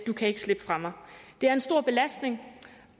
du kan ikke slippe fra mig det er en stor belastning